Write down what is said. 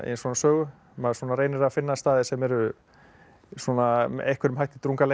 svona sögu maður svona reynir að finna staði sem eru með einhverjum hætti